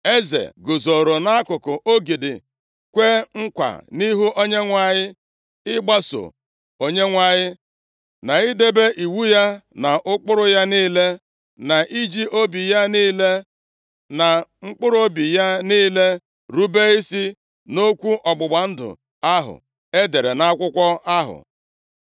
Eze guzoro nʼakụkụ ogidi, kwee nkwa nʼihu Onyenwe anyị, ịgbaso Onyenwe anyị, na idebe iwu ya na ụkpụrụ ya niile, na iji obi ya niile, na mkpụrụobi ya niile rube isi nʼokwu ọgbụgba ndụ ahụ e dere nʼakwụkwọ ahụ.